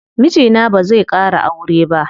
Mijina bazai ƙara aure ba.